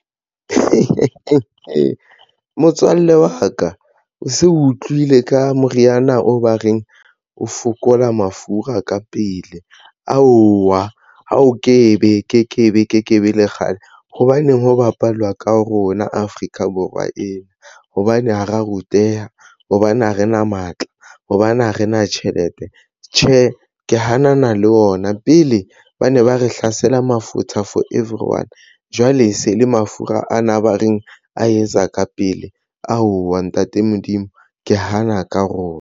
Motswalle wa ka o se o utlwile ka moriana o ba reng o fokola mafura ka pele aowa a o ke ke be, o ke ke be le kgale. hobaneng ho bapalwa ka rona Afrika Borwa ena. Hobane ha ra ruteha hobane ha re na matla hobane ha re na tjhelete. Tjhe, ke hana na le ona na pele ba ne ba re hlasela mafutha for everyone jwale se le mafura ana ba reng a etsa ka pele aowa, ntate Modimo ke hana ka rona.